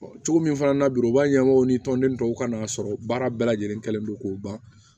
cogo min fana na bi o b'a ɲɛmaaw ni tɔnden tɔw kan'a sɔrɔ baara bɛɛ lajɛlen kɛlen don k'o ban